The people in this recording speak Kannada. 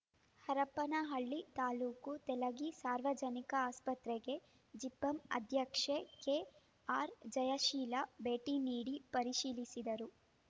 ಹರಪನಹಳ್ಳಿ ತಾಲೂಕು ತೆಲಗಿ ಸಾರ್ವಜನಿಕ ಆಸ್ಪತ್ರೆಗೆ ಜಿಪಂ ಅಧ್ಯಕ್ಷೆ ಕೆಆರ್‌ಜಯಶೀಲ ಭೇಟಿ ನೀಡಿ ಪರಿಶೀಲಿಸಿದರು